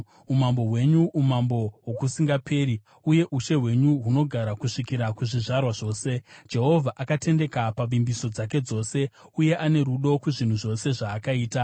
Umambo hwenyu umambo hwokusingaperi, uye ushe hwenyu hunogara kusvikira kuzvizvarwa zvose. Jehovha akatendeka pavimbiso dzake dzose, uye ane rudo kuzvinhu zvose zvaakaita.